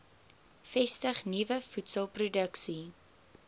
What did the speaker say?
vestig nuwe voedselproduksie